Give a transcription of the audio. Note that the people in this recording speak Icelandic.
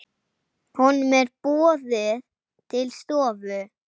Honum er boðið til stofu.